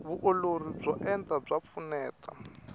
vuolori byo enta bya pfuneta